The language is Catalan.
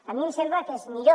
a mi em sembla que és millor